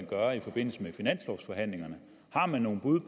gøre i forbindelse med finanslovsforhandlingerne har man noget bud